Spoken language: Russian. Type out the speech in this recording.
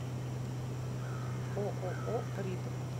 ооо ритм